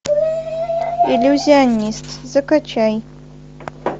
иллюзионист закачай